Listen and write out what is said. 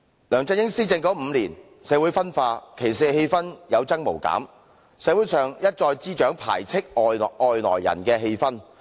梁振英施政5年，社會分化，歧視氣氛有增無減，社會上一再滋長排斥外來人的氣氛。